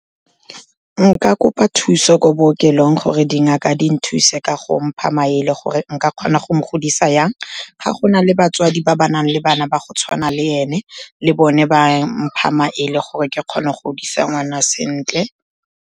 Nka kopa thuso ko bookelong gore dingaka di nthuse ka go mpha maele gore nka kgona go mo godisa jang. Ga go na le batswadi ba ba nang le bana ba go tshwana le ene, le bone ba mpha maele gore ke kgone go godisa ngwana sentle.